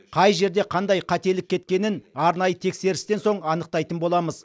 қай жерде қандай қателік кеткенін арнайы тексерістен соң анықтайтын боламыз